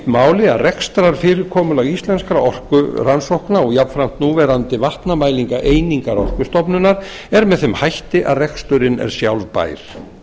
máli að rekstrarfyrirkomulag íslenskra orkurannsókna og jafnframt núverandi vatnamælingaeiningar orkustofnunar er með þeim hætti að reksturinn er sjálfbær ekki